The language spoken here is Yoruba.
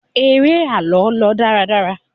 eré àlọ lọ dáradára